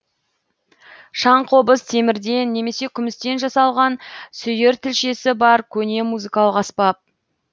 шаңқобыз темірден немесе күмістен жасалған сүйір тілшесі бар көне музыкалық аспап